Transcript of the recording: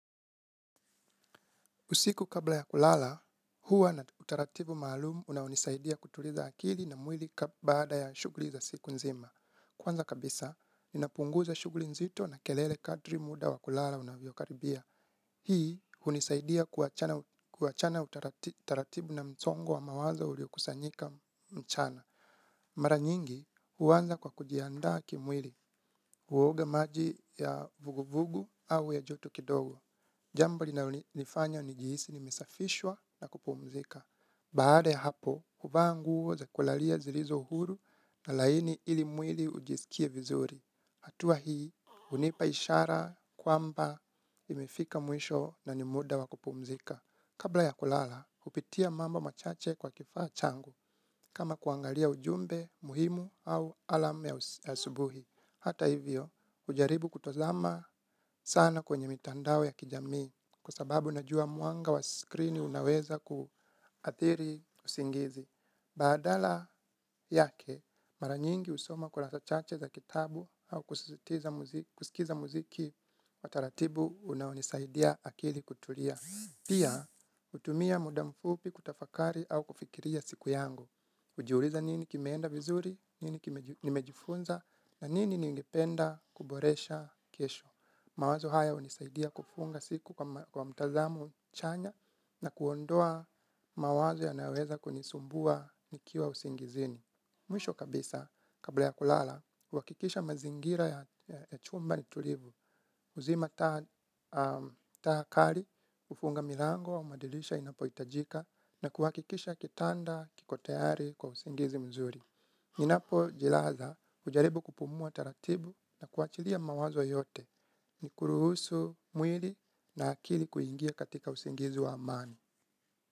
Usiku kabla ya kulala, huwa na utaratibu maalumu unao nisaidia kutuliza akili na mwili baada ya shughuli za siku nzima. Kwanza kabisa, inapunguza shughuli nzito na kelele kadri muda wa kulala unavyokaribia. Hii, hunisaidia kuachana utaratibu na msongo wa mawazo uliokusanyika mchana. Mara nyingi, huanza kwa kujiandaa kimwili, huoga maji ya vuguvugu au ya joto kidogo. Jambo linalonifanya nijihisi nimesafishwa na kupumzika. Baada ya hapo, huva nguo za kulalia zilizo huru na laini ili mwili ujisikie vizuri. Hatuwa hii, hunipa ishara kwamba nimefika mwisho na ni muda wa kupumzika. Kabla ya kulala, hupitia mambo machache kwa kifaa changu kama kuangalia ujumbe muhimu au alarm ya asubuhi. Hata hivyo, hujaribu kutazama sana kwenye mitandao ya kijamii. Kwa sababu najua mwanga wa screen unaweza kuathiri usingizi. Badala yake, mara nyingi husoma kurasa chache za kitabu au kusikiza muziki wa taratibu unaonisaidia akili kutulia. Pia, hutumia muda mfupi kutafakari au kufikiria siku yangu. Hujiuliza nini kimeenda vizuri, nini nimejifunza, na nini ningependa kuboresha kesho. Mawazo haya hunisaidia kufunga siku kwa mtazamo chanya na kuondoa mawazo yanayoweza kunisumbua nikiwa usingizini. Mwisho kabisa, kabla ya kulala, huhakikisha mazingira ya chumba ni tulivu. Uzima taa kali, hufunga milango, madirisha inapo hitajika na kuhakikisha kitanda, kiko tayari, kwa usingizi mzuri. Ninapo jilaza ujaribu kupumua taratibu na kuachilia mawazo yote ni kuruhusu mwili na akili kuingia katika usingizi wa amani.